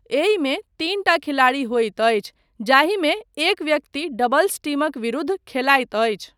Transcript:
एहिमे तीनटा खिलाड़ी होइत अछि जाहिमे एक व्यक्ति डबल्स टीमक विरूद्ध खेलायत अछि।